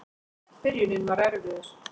Byrjunin var erfiðust.